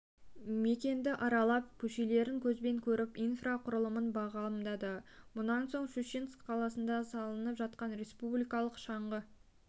мекенді аралап көшелерін көзбен көріп инфрақұрылымын бағамдады мұнан соң щучинск қаласында салынып жатқан республикалық шаңғы